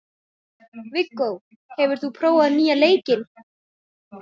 Viggó, hefur þú prófað nýja leikinn?